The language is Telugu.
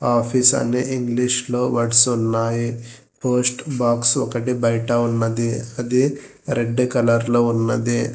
ఆఫీస్ అని ఇంగ్లీషులో వర్డ్స్ ఉన్నాయి పోస్ట్ బాక్స్ ఒకటి బయట ఉన్నది అది రెడ్ కలర్ లో ఉన్నది.